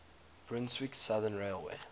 brunswick southern railway